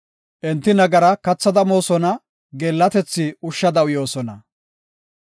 Enti nagara kathada moosona; geellatethi ushshada uyoosona.